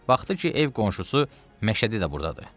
Baxdı ki, ev qonşusu Məşədi də burdadır.